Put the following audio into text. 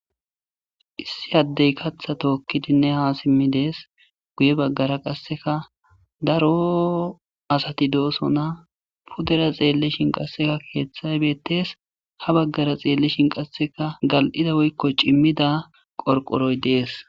Issi addey katha tookkidinne ha simmi dees guye baggara qasseka daro asati doosona pudera xeellishin qasseka keeththay beettees , ha baggara xeellishin qasseka gal'ida woykko cimmida qorqoroy dees.